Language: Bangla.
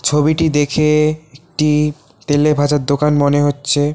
ছবিটি দেখে একটি তেলে ভাজার দোকান মনে হচ্ছে।